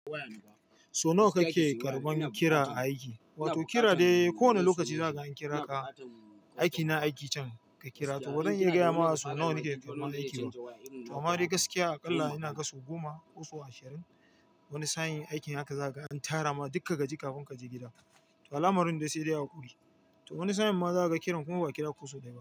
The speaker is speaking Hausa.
So nawa kake karban kira aiki? Wato kira dai ko wane lokaci zaka an kira ka aiki na aiki can ka kira to zan iya gaya maka so nawa nake karban aiki ba. To ama dai gaskiya aƙalla ina gan so goma, ko so ashirin. Wani sa'in aikin haka zaka an tara ma duka gaji kafin kaje gida. Alamarin dai sai dai hakuri. To wani sa'in ma zaka kiran kuma ba kira kusu dai ba.